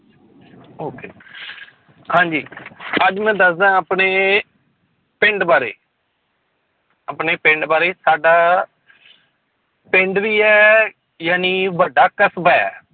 Okay ਹਾਂਜੀ ਅੱਜ ਮੈਂ ਦੱਸਦਾਂ ਆਪਣੇ ਪਿੰਡ ਬਾਰੇ ਆਪਣੇ ਪਿੰਡ ਬਾਰੇ ਸਾਡਾ ਪਿੰਡ ਵੀ ਹੈੳ, ਜਾਣੀ ਵੱਡਾ ਕਸ਼ਬਾ ਹੈ।